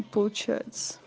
получается